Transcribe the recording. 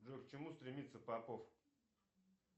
джой к чему стремится попов